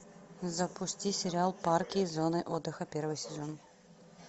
запусти сериал парки и зоны отдыха первый сезон